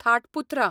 थाट पुथ्रा